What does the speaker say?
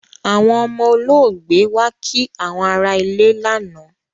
Àwọn ọmọ olóògbé wá kí àwọn ará ilé lánàá